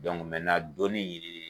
dɔnni ɲini